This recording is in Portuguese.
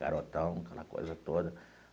Garotão, aquela coisa toda.